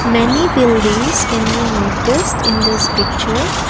many buildings can be noticed in this picture.